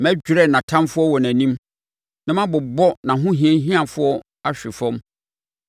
Mɛdwerɛ nʼatamfoɔ wɔ nʼanim na mabobɔ nʼahohiahiafoɔ ahwe fam.